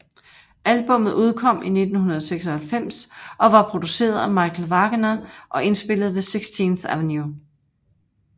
Albummet udkom i 1996 og var produceret af Michael Wagener og indspillet ved 16th Ave